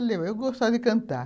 Eu gostava de cantar.